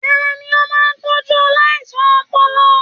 Tani o máa n tọjú aláìsàn ọpọlọ?